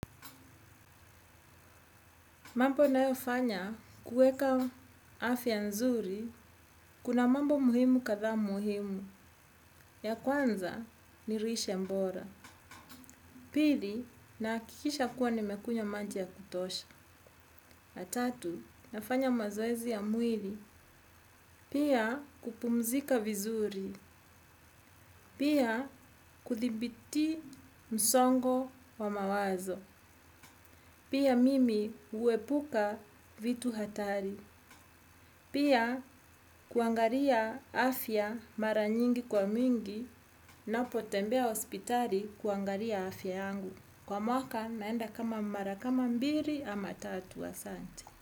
Mambo nayofanya kuweka afya nzuri, kuna mambo muhimu kadha muhimu. Ya kwanza, ni lishe mbora. Pili, nahakikisha kuwa nimekunywa maji ya kutosha. Tatu, nafanya mazoezi ya mwili. Pia, kupumzika vizuri. Pia, kuthibiti msongo wa mawazo. Pia, mimi huepuka vitu hatari. Pia kuangalia afya mara nyingi kwa mwingi napotembea hospitali kuangalia afya yangu. Kwa mwaka naenda kama mara kama mbili ama tatu asanti.